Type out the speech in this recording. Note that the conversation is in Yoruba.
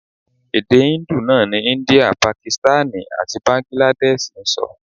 Èdè Hindu náà ni India, Pakistani àti Báńgíládẹ́ṣiì ń sọ.